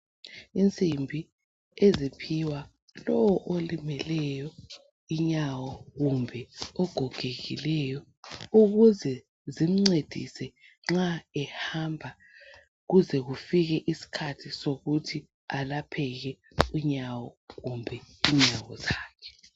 Isimbi eziphiwa lo olimeleyo inyawo, kumbe ogogekileyo ukuze zimncedise nxa ehamba. Kuze kufike isikhathi sokuthi alapheke unyawo kumbe inyawo zakhe.